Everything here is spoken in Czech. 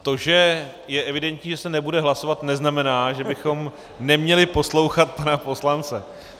To, že je evidentní, že se nebude hlasovat, neznamená, že bychom neměli poslouchat pana poslance.